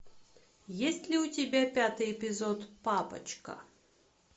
есть ли у тебя пятый эпизод папочка